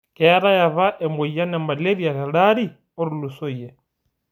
Keetai apa emoyian e malaria teldaari otulusoyie